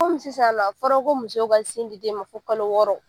sisan nɔ a fɔla ko musow ka sin di den ma fo kalo wɔɔrɔ.